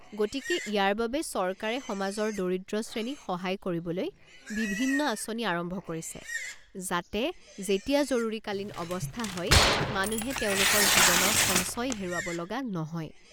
গতিকে ইয়াৰ বাবে চৰকাৰে সমাজৰ দৰিদ্ৰ শ্ৰেণীক সহায় কৰিবলৈ বিভিন্ন আঁচনি আৰম্ভ কৰিছে, যাতে যেতিয়া জৰুৰীকালীন অৱস্থা হয়, মানুহে তেওঁলোকৰ জীৱনৰ সঞ্চয় হেৰুৱাব লগা নহয়।